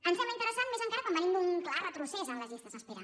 em sembla interessant més encara quan venim d’un clar retrocés en les llistes d’espera